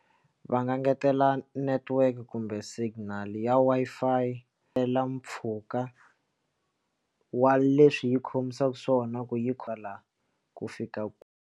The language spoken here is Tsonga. Va nga ngetela network kumbe signal ya Wi-Fi tela mpfhuka wa leswi yi khomisaka swona ku yi kwala ku fika kwihi.